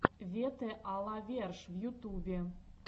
вете а ла верш в ютубе